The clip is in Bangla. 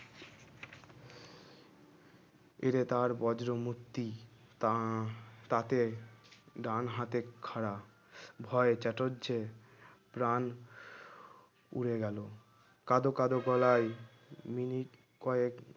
এরে তার বজ্র মূর্তি তা তাতে ডান হাতে খাড়া ভয়ে চাটুর্জে প্রাণ উড়ে গেল কাঁদো কাঁদো গলায় মিনিট কয়েক